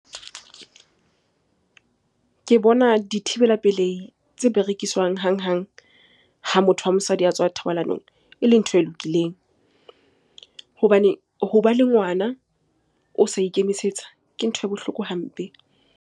Ke bona dithibela pelehi tse berekiswang hanghang ha motho wa mosadi a tswa thobalanong e le ntho e lokileng. Hobane hoba le ngwana o sa ikemisetsa ke ntho e bohloko hampe.